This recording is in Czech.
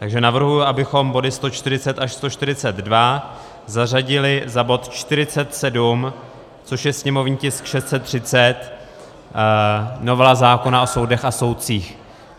Takže navrhuji, abychom body 140 až 142 zařadili za bod 47, což je sněmovní tisk 630, novela zákona o soudech a soudcích.